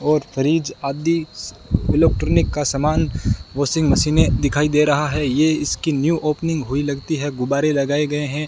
और फ्रिज आदि इलेक्ट्रॉनिक का सामान वाशिंग मशीनें दिखाई दे रहा है यह इसकी न्यू ओपनिंग हुई लगती है गुब्बारे लगाए गए हैं।